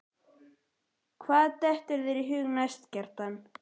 Hvað dettur þér í hug næst, Kjartan?